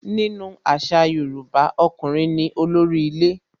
Nínú àṣà Yorùbá, ọkùnrin ní olórí ilé.